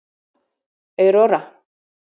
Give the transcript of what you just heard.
Aurora